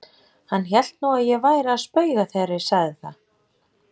Hann hélt nú að ég væri að spauga þegar ég sagði það.